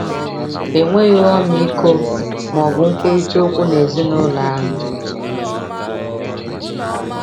Enweghị ọmịiko ma ọ bụ nkwurịta okwu n’ezinụlọ ahụ.